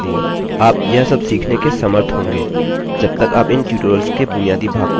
आप यह सब सीखने के समर्थ होंगे जब तक आप इन ट्यूटोरियल्स के बुनियादी भाग को सीख लेते हैं